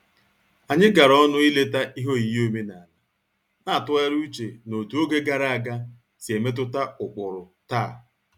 Anyị gara ọnụ ileta ihe oyiyi omenala, na-atụgharị uche n'otú oge gara aga si emetụta ụkpụrụ taa